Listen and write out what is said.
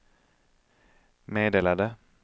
meddelade